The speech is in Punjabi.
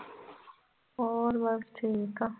ਹੋਰ ਬਸ ਠੀਕ ਆ।